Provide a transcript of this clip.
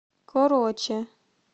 короче